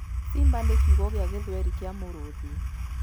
Simba nĩ kiugo gĩa gĩthweri kĩa mũrũũthi.